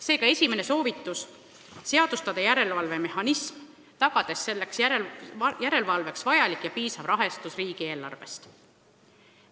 Seega esimene soovitus: seadustada järelevalvemehhanism, tagades selleks järelevalveks vajalik ja piisav rahastus riigieelarvest.